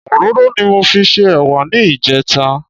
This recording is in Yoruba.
Òróró ni mo fi se ẹ̀wà ní ìjẹta